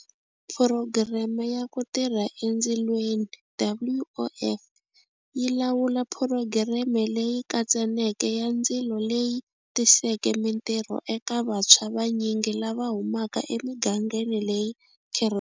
Phurogireme ya Ku Tirha Endzilweni, WOF, yi lawula phurogireme leyi katsaneke ya ndzilo leyi tiseke mitirho eka vantshwa vanyingi lava humaka emigangeni leyi.